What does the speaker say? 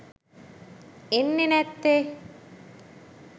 එන්නේ නැත්තේ.